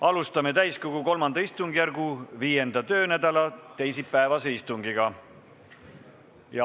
Alustame täiskogu III istungjärgu 5. töönädala teisipäevast istungit.